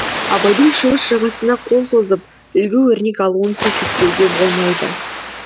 абайдың шығыс жағасына қол созып үлгі өрнек алуын сөкеттеуге болмайды